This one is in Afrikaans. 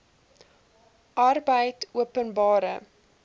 arbeidopenbare